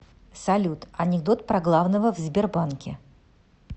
салют анекдот про главного в сбербанке